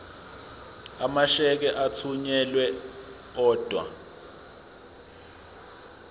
amasheke athunyelwa odwa